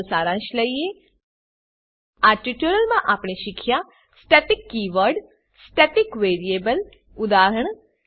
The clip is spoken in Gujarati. ચાલો સારાંશ લઈએ આ ટ્યુટોરીયલમાં આપણે શીખ્યા static keyword static keyword static variable static variable ઉદા